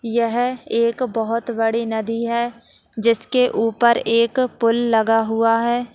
हम पहाड़ी दिखाई दे रही है जो ब्लैक कलर की है ये देखने में लग रहा है।